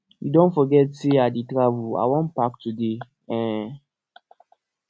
you don forget say i dey travel i wan pack today um